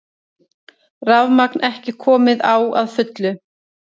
Rafmagn ekki komið á að fullu